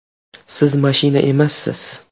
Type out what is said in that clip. Siz mashina emassiz!